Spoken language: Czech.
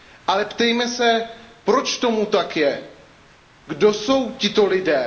Ale ptejme se, proč tomu tak je? Kdo jsou tito lidé?